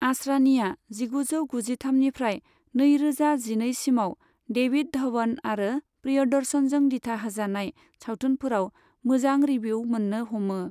आसरानिआ जिगुजौ गुजिथामनिफ्राय नैरोजा जिनैसिमाव डेभिड धवन आरो प्रियदर्शनजों दिथा होजानाय सावथुनफोराव मोजां रिभिउ मोन्नो हमो।